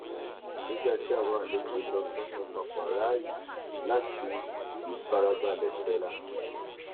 nígbà tí àwọn àlejò lọ tán mo pàpà ráàyè láti ìfarabalẹ sinra